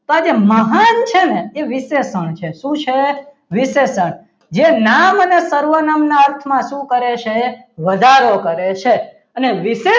તો આજે મહાન છે ને એ વિશેષણ છે શું છે વિશેષણ જે નામ અને સર્વનામના અર્થમાં શું કરે છે વધારો કરે છે અને વિશેષણ